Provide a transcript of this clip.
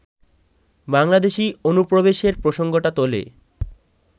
বাংলাদেশী অনুপ্রবেশের প্রসঙ্গটা তোলে